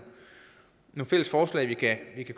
fælles forslag vi kan